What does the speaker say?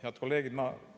Head kolleegid!